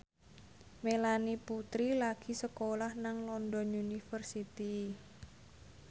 Melanie Putri lagi sekolah nang London University